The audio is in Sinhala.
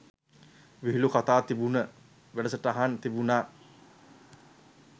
විහිළු කතා තිබුන වැඩසටහන් තිබුනා.